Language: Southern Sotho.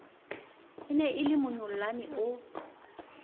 e ne e lemonyollane o